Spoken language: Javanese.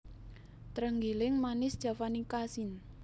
Trenggiling Manis javanica syn